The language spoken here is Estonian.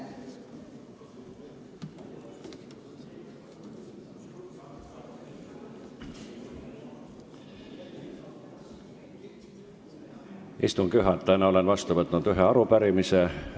Istungi juhatajana olen vastu võtnud ühe arupärimise.